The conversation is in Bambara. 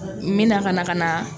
N mina ka na ka na